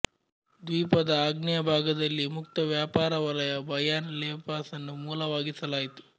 ದ್ವೀಪದ ಆಗ್ನೇಯ ಭಾಗದಲ್ಲಿ ಮುಕ್ತ ವ್ಯಾಪಾರ ವಲಯ ಬಯಾನ್ ಲೆಪಾಸ್ ನ್ನು ಮೂಲವಾಗಿಸಲಾಯಿತು